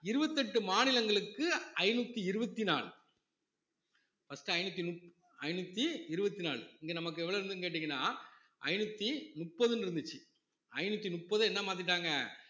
இருவத்தி எட்டு மாநிலங்களுக்கு ஐந்நூத்தி இருவத்தி நாலு first ஐந்நூத்தி நூத்~ ஐநூத்தி இருவத்தி நாலு இங்க நமக்கு எவ்வளவு இருந்ததுன்னு கேட்டீங்கன்னா ஐநூத்தி முப்பதுன்னு இருந்துச்சு ஐநூத்தி முப்பது என்ன மாத்திட்டாங்க